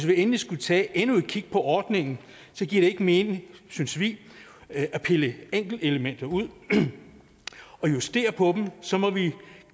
vi endelig skulle tage endnu et kig på ordningen giver det ikke mening synes vi at pille enkeltelementer ud og justere på dem så må vi